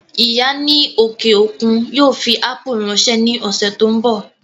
Ìyá ní òkè òkun yóò fi ápù ráńṣẹ́ ní ọ̀sẹ̀ tó ń bọ̀